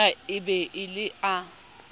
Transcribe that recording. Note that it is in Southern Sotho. na e be le a